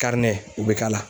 u be k'a la.